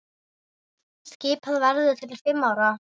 Skipað verður til fimm ára.